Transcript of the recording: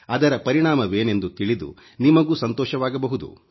ಅದರ ಪರಿಣಾಮವೇನೆಂದು ತಿಳಿದು ನಿಮಗೂ ಸಂತೋಷವಾಗಬಹುದು